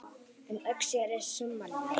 Um Öxi er sumarleið